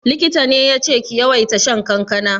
Likita ne yace ki yawaita shan kankana?